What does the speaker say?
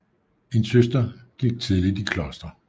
En søster gik tidligt i kloster